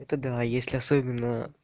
это да если особенно